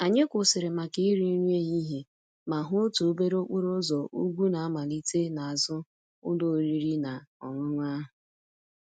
Anyị kwụsịrị maka iri nri ehihie ma hụ otu obere okporo ụzọ ugwu na-amalite n'azụ ụlọ oriri na ọṅụṅụ ahụ.